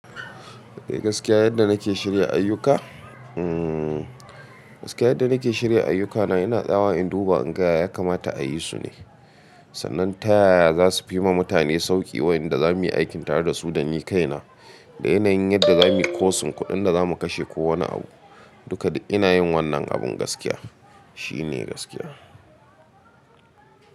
Eh gaskiya yadda nake shirya ayyuka? Hmm gaskiya yadda nake shirya ayyukana yana tsawa in duba in ga ya kamata a yi su ne. Sannan ta yaya za su fi ma mutane sauƙi wayanda za mu yi aikin tare da su don ni kaina. Da yanayin yadda za mu yi kosin kuɗin da za mu kashe ko wane abu. Duka dai ina yin wannan abun gaskiya shine gaskiya.